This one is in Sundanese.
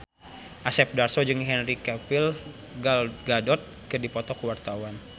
Asep Darso jeung Henry Cavill Gal Gadot keur dipoto ku wartawan